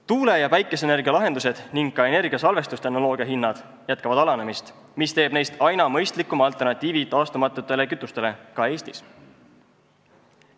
Tuule- ja päikeseenergia lahendused ning ka energiasalvestustehnoloogia hinnad jätkavad alanemist, mis teeb neist aina mõistlikuma alternatiivi taastumatutele kütustele, ka Eestis.